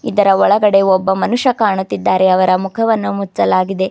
ಇದರ ಒಳಗಡೆ ಒಬ್ಬ ಮನುಷ್ಯ ಕಾಣುತ್ತಿದ್ದಾರೆ ಅವರ ಮುಖವನ್ನು ಮುಚ್ಚಲಾಗಿದೆ.